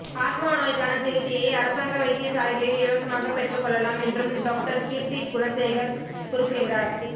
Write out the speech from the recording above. asthma நோய்க்கான சிகிச்சையை அரசாங்க வைத்தியசாலைகளில் இலவசமாக பெற்றுக்கொள்ளலாம் என்றும் டொக்டார் கீர்த்தி குணசேகர குறிப்பிட்டார்